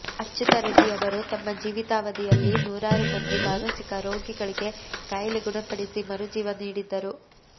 ಅಚ್ಯುತರೆಡ್ಡಿಯವರು ತಮ್ಮ ಜೀವಿತಾವಧಿಯಲ್ಲಿ ನೂರಾರು ಮಂದಿ ಮಾನಸಿಕ ರೋಗಿಗಳಿಗೆ ಕಾಯಿಲೆ ಗುಣಪಡಿಸಿ ಮರುಜೀವ ನೀಡಿದ್ದರು